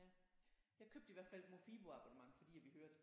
Ja jeg købte i hvert fald et Mofibo-abonnement fordi jeg ville høre det